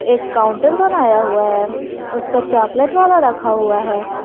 एक काउंटर बनाया हुआ है उसपे चॉकलेट वाला रखा हुआ है।